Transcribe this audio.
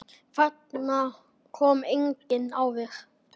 Þangað kom enginn áður.